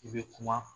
I bɛ kuma